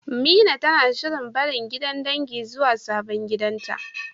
Mina tana shirin barin gidan dangin zuwa sabon gidanta.